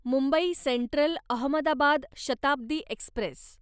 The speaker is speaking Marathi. Mumbai central Ahmedabad Shatabdi Express